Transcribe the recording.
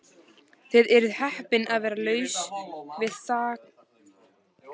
Þið eruð heppin að vera laus við þann kaleik.